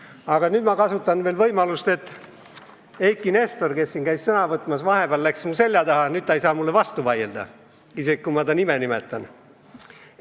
Aga nüüd ma kasutan veel võimalust, mis on avanenud tänu sellele, et Eiki Nestor, kes käis siin sõna võtmas, läks vahepeal mu selja taha ja nüüd ta ei saa mulle vastu vaielda, isegi kui ma ta nime nimetan.